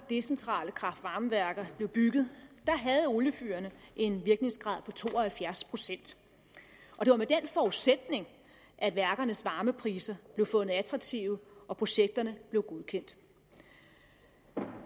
decentrale kraft varme værker blev bygget havde oliefyrene en virkningsgrad på to og halvfjerds pct og det var med den forudsætning at værkernes varmepriser blev fundet attraktive og projekterne blev godkendt